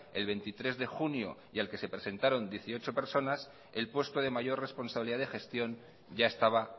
el veintitrés de junio y al que se presentaron dieciocho personas el puesto de mayor responsabilidad de gestión ya estaba